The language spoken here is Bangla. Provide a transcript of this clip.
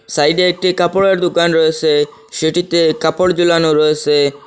সাইডে একটি কাপড়ের দুকান রয়েসে সেটিতে কাপড় জুলানো রয়েসে।